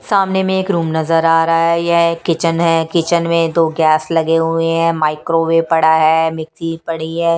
सामने में एक रूम नजर आ रहा है यह एक किचन है किचन में दो गैस लगे हुए हैं माइक्रोवेव पड़ा है मिक्सी पड़ी है।